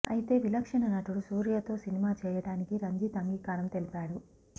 అయితే విలక్షణ నటుడు సూర్యతో సినిమా చేయడానికి రంజిత్ అంగీకారం తెలిపాడు